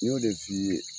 N y'o de f'i ye